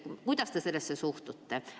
Kuidas te sellesse suhtute?